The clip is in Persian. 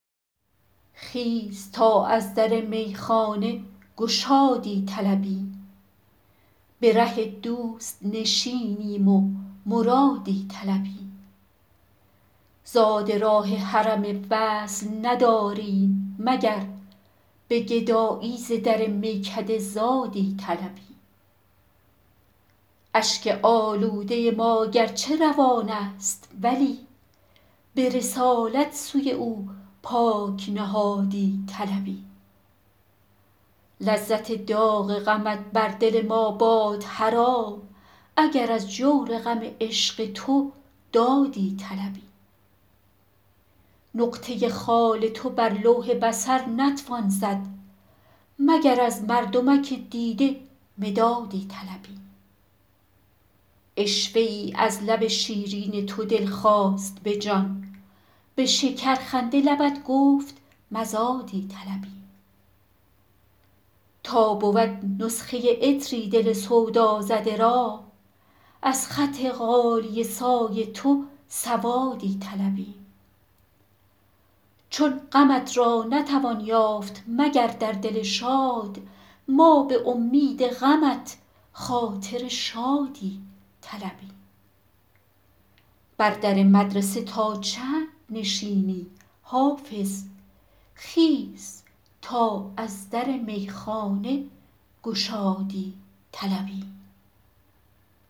خیز تا از در میخانه گشادی طلبیم به ره دوست نشینیم و مرادی طلبیم زاد راه حرم وصل نداریم مگر به گدایی ز در میکده زادی طلبیم اشک آلوده ما گرچه روان است ولی به رسالت سوی او پاک نهادی طلبیم لذت داغ غمت بر دل ما باد حرام اگر از جور غم عشق تو دادی طلبیم نقطه خال تو بر لوح بصر نتوان زد مگر از مردمک دیده مدادی طلبیم عشوه ای از لب شیرین تو دل خواست به جان به شکرخنده لبت گفت مزادی طلبیم تا بود نسخه عطری دل سودازده را از خط غالیه سای تو سوادی طلبیم چون غمت را نتوان یافت مگر در دل شاد ما به امید غمت خاطر شادی طلبیم بر در مدرسه تا چند نشینی حافظ خیز تا از در میخانه گشادی طلبیم